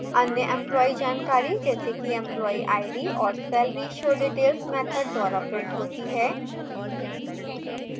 अन्य employee जानकारी जैसे कि employee id और salary showdetails मैथड द्वारा printed होती हैं